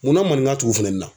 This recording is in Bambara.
Munna maninka t'u fana na